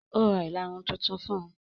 Ó Ra ìlarun tuntun fún un.